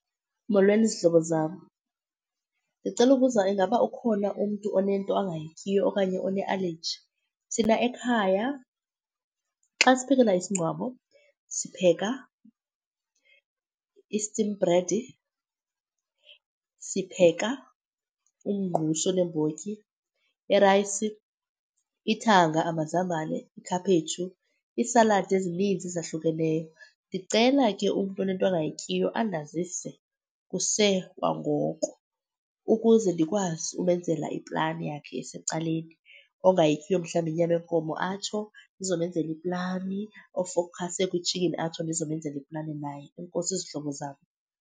Molweni, zihlobo zam. Ndicela ukubuza, ingaba ukhona umntu onento angayityiyo okanye onealeji? Thina ekhaya xa siphekela isingcwabo sipheka i-steam bread, sipheka umngqusho oneembotyi, irayisi, ithanga, amazambane, ikhaphetshu, iisaladi ezininzi ezahlukeneyo. Ndicela ke umntu onento angayityiyo andazise kusekwangoko ukuze ndikwazi umenzela iplani yakhe esecaleni. Ongayityiyo mhlawumbi inyama yenkomo atsho ndizomenzela iplani, ofowukhase kwitshikhini atsho ndizomenzela iplani naye. Enkosi zihlobo zam.